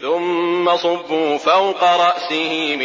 ثُمَّ صُبُّوا فَوْقَ رَأْسِهِ